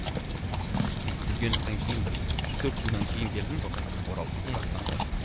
жүргеновтан кейін бір үш төрт жылдан кейін келдім ғой қайтадан оралдым қазақстанға мхм